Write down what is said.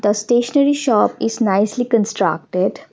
the stationery shop is nicely constructed.